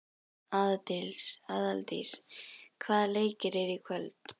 Aðaldís, hvaða leikir eru í kvöld?